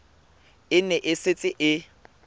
e ne e setse e